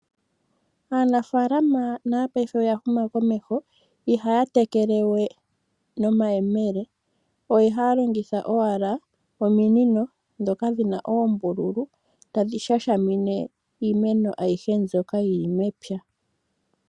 Aanafalama nayo paife oyahuma komesho, ihaatekele we nomayemele ohaalongitha owala ominino dhoka dhina oombululu tadhi shashamine iimeno ayihe mbyoka yili mepya.